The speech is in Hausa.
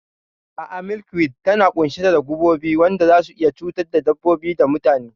A'a, milkweed tana ƙunshe da gubobi waɗanda zasu iya cutar da dabbobi da mutane.